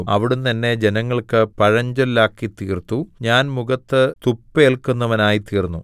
അവിടുന്ന് എന്നെ ജനങ്ങൾക്ക് പഴഞ്ചൊല്ലാക്കിത്തീർത്തു ഞാൻ മുഖത്ത് തുപ്പേല്‍ക്കുന്നവനായിത്തീർന്നു